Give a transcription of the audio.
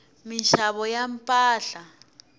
minxavo ya mpahla